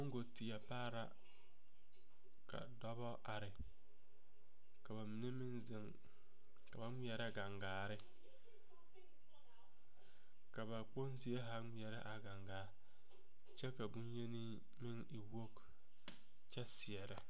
Moŋggo teɛ pare la ka dɔbɔ are ka ba mine meŋ zeŋ ka ba ŋmeɛrɛ kaŋgaare ka ba kponzie zaa kyɛ ka boŋyeni meŋ e wogi kyɛ seɛrɛ.